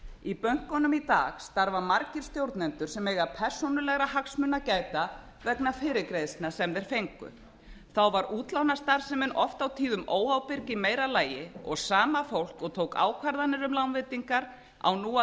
í bönkunum í dag starfa margir stjórnendur sem eiga persónulegra hagsmuna að gæta vegna fyrirgreiðslna sem þeir fengu þá var útlánastarfsemin oft og tíðum óábyrg í meira lagi og sama fólk og tók ákvarðanir um lánveitingar á nú